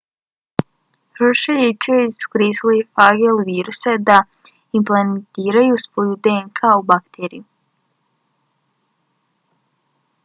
hershey i chase su koristili fage ili viruse da implantiraju svoju dnk u bakteriju